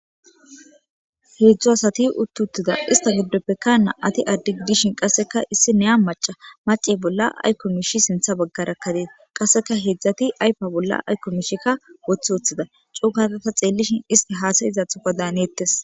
Heedzdzu asati uttuttida ista giddop pekkana ati addigidishin qasseka issi neya maca mace bolla aykko mishi sintha baggarakkadees qasseka heedzdzati aypa bolla aykko mishikka woththi woththida cuugatata xeellishin isti haasayizathoka daaneettes.